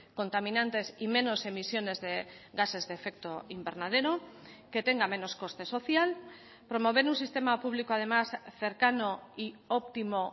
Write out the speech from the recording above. contaminantes y menos emisiones de gases de efecto invernadero que tenga menos coste social promover un sistema público además cercano y óptimo